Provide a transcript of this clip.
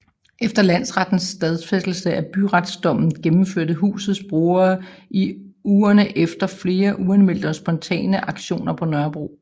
Efter landsrettens stadfæstelse af byretsdommen gennemførte husets brugere i ugerne efter flere uanmeldte og spontane aktioner på Nørrebro